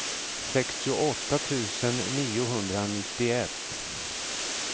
sextioåtta tusen niohundranittioett